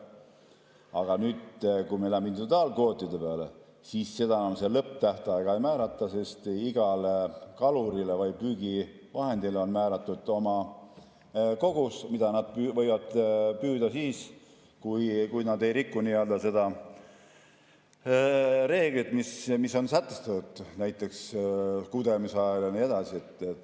Aga nüüd, kui me läheme individuaalkvootide peale, siis seda lõpptähtaega enam ei määrata, sest igale kalurile või püügivahendile on määratud oma kogus, mida nad võivad püüda, kui nad ei riku seda reeglit, mis on sätestatud, näiteks kudemise ajal jne.